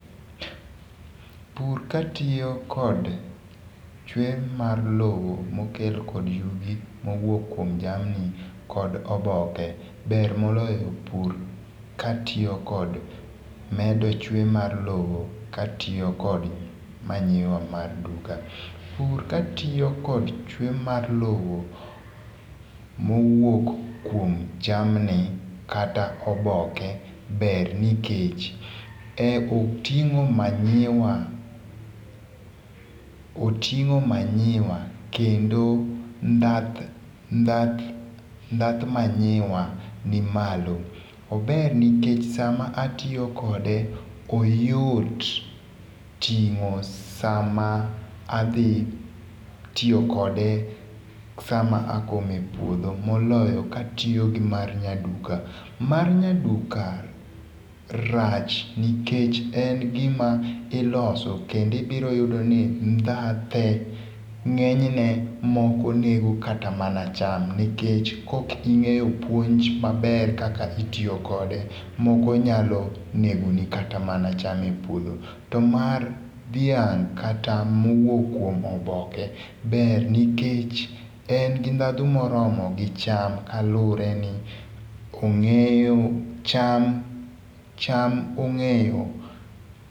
Pur katiyo kod chwe mar lowo mokel kod yugi mowuok kuom jamni kod oboke ber moloyo pur katiyo kod medo chwe mar lowo katiyo kod manure mar duka. Pur katiyo kod chwe mar lowo mowuok kuom jamni kata oboke ber nikech e oting'o manure oting'o manure kendo ndhath ndhath ndhath manure ni malo. Ober nikech sama atiyo kode oyot ting'o sama adhi tiyokode sama akome e puodho moloyo katiyo gi mar nya duka. Mar nyaduka rach nikech en gima iloso kendo ibiro yudo ni ndhathe ng'enyne moko nego kata mana cham nikech kok ing'eyo puonj maber kaka itiyokode moko nyalo negini kata mana cham e puodho. To mar dhiang' kata mowuok kuom oboke ber nikech en gi ndhadhu moromo gi cham kalure ni ong'eyo cham cham ong'eyo.